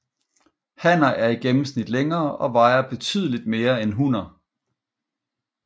Hanner er i gennemsnit længere og vejer betydeligt mere end hunner